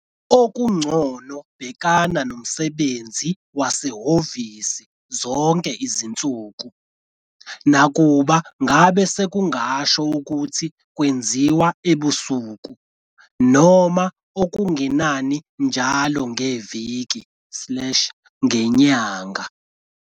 Okungcono bhekana nomsebenzi wasehhovi zonke izinsuku, nakuba ngabe sekungasho ukuthi kwenziwe ebusuku, noma okungenani njalo ngeviki slash ngenyanga.